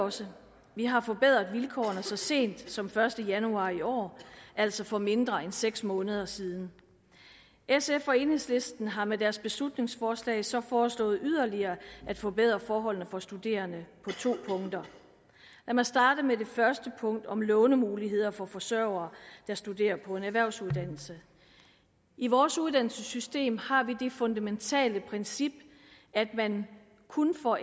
også vi har forbedret vilkårene så sent som den første januar i år altså for mindre end seks måneder siden sf og enhedslisten har med deres beslutningsforslag så foreslået yderligere at forbedre forholdene for studerende på to punkter lad mig starte med det første punkt om lånemuligheder for forsørgere der studerer på en erhvervsuddannelse i vores uddannelsessystem har vi det fundamentale princip at man kun får